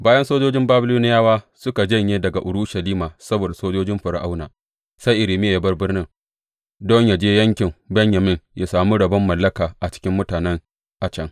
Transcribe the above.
Bayan sojojin Babiloniyawa suka janye daga Urushalima saboda sojojin Fir’auna, sai Irmiya ya bar birnin don yă je yankin Benyamin ya sami rabon mallaka a cikin mutane a can.